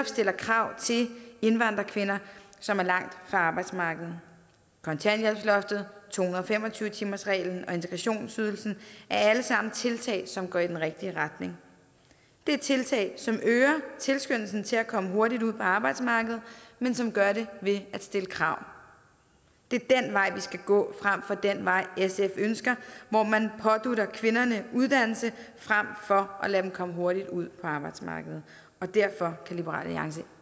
stille krav til indvandrerkvinder som er langt fra arbejdsmarkedet kontanthjælpsloftet to hundrede og fem og tyve timersreglen og integrationsydelsen er alle sammen tiltag som går i den rigtige retning det er tiltag som øger tilskyndelsen til at komme hurtigt ud på arbejdsmarkedet men som gør det ved at stille krav det er den vej vi skal gå frem for den vej sf ønsker hvor man pådutter kvinderne uddannelse frem for at lade dem komme hurtigt ud på arbejdsmarkedet derfor kan liberal alliance